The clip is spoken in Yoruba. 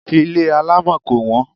Ilé alámọ̀ kò wọ́n.